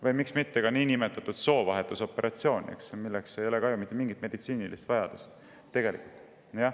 Või miks mitte ka soovahetusoperatsioone, milleks ei ole ju ka mitte mingisugust meditsiinilist vajadust.